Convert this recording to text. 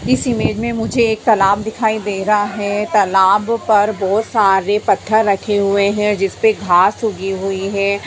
इस इमेज मे मुझे एक तालाब दिखाई दे रहा है| तालाब पर बहुत सारे पत्थर रखे हुए है जिसपे घास उगी हुई है।